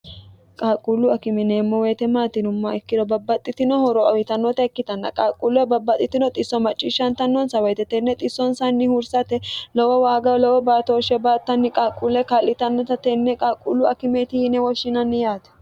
qaqquullu akimineemmo weyite maatinumma ikkiro babbaxxitinoho roawitannota ikkitanna qaqquulle babbaxxitino xisso macciishshantannonsa woyite tenne xissonsanni hursate lowo waaga lowo baatooshshe baattanni qaqquulle ka'litannota tenne qalqquullu akimeti hiine woshshinanni yaati